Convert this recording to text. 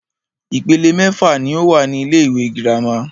Ìpele mẹ́fà ní o wà ní ilé ìwé gírámà.